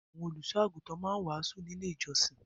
Àwọn olùṣọ́-àgùntàn máa ń wàásù ní Ilé-ìjọsìn.